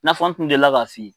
I n'a fɔ n tun delila ka f'i ye.